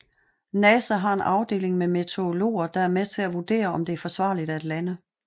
NASA har en afdeling med meteorologer der er med til at vurdere om det er forsvarligt at lande